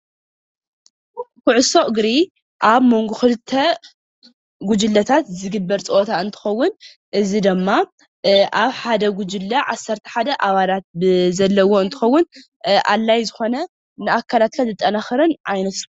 ኩዕሶ እግሪ አብ መንጎ ክልተ ጉጅለታት ዝግበር ፀወታ እንትኸውን እዚ ድማ አብ ሓደ ጉጅለ ዓሰርተ ሓደ አባላት ዘለዎ እንትኸውን አድላይ ዝኮነ ንአካላትካ ዘጠናክርን ዓይነት